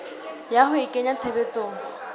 ya ho a kenya tshebetsong